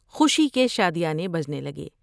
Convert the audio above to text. خوشی کے شادیانے بجنے لگے ۔